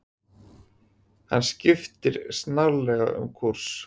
Hann skipti snarlega um kúrs.